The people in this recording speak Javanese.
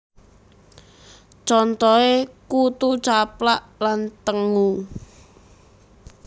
Contoh e Kutu Caplak lan tengu